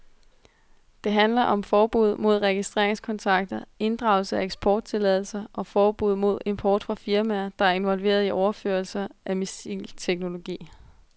Det handler om forbud mod regeringskontakter, inddragelse af eksporttilladelser og forbud mod import fra firmaer, der er involveret i overførelser af missilteknologi.